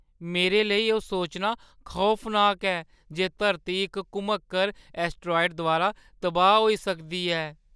मेरे लेई एह्‌ सोचना खौफनाक ऐ जे धरती इक घुमक्कड़ ऐस्टरॉइड द्वारा तबाह्‌ होई सकदी ऐ।